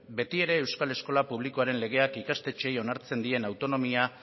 betiere euskal eskola publikoaren legeak ikastetxeei onartzen dien autonomia